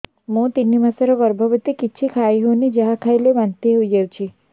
ମୁଁ ତିନି ମାସର ଗର୍ଭବତୀ କିଛି ଖାଇ ହେଉନି ଯାହା ଖାଇଲେ ବାନ୍ତି ହୋଇଯାଉଛି